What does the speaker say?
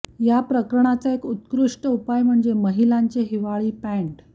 या प्रकरणाचा एक उत्कृष्ट उपाय म्हणजे महिलांचे हिवाळी पॅंट